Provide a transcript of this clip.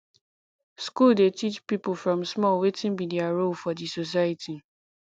school dey teach pipo from small wetin be their role for di society